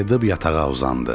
Qayıyıb yatağa uzandı.